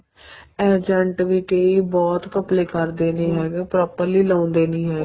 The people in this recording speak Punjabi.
agent ਵੀ ਕੀ ਬਹੁਤ ਘਪਲੇ ਕਰਦੇ ਨੇ ਹੈਗੇ ਉਹ properly ਲਾਉਦੇ ਨਹੀਂ ਹੈਗੇ